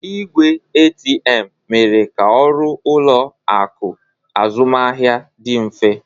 Igwe ATM mere ka ọrụ ụlọ akụ azụmaahịa dị mfe